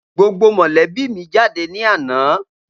Gbogbo mọ̀lébí mi jáde ní àná